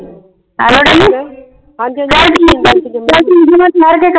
ਚੱਲ ਠੀਕ ਹੈ ਚਲ ਠੀਕ ਹੈ ਮੈਂ ਠਹਿਰ ਕੇ ਕਰ